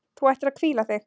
Þú ættir að hvíla þig.